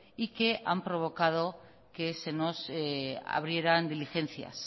y que han provocado que se nos abrieran diligencias